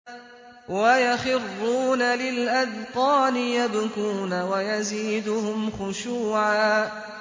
وَيَخِرُّونَ لِلْأَذْقَانِ يَبْكُونَ وَيَزِيدُهُمْ خُشُوعًا ۩